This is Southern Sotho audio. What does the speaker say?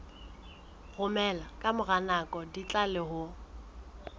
romela ka mora nako ditlaleho